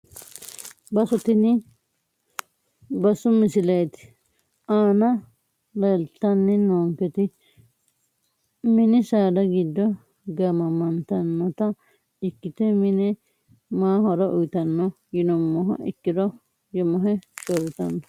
Bassu tini bassu misilete aana leeltani noonketi mini saada giddo gaamamantanota ikite mine maa horo uyitano yinumoha ikiro yemahe shoritano.